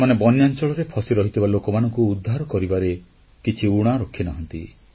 ସେମାନେ ବନ୍ୟାଂଚଳରେ ଫସିରହିଥିବା ଲୋକମାନଙ୍କୁ ଉଦ୍ଧାର କରିବାରେ କିଛି ଊଣା ରଖିନାହାନ୍ତି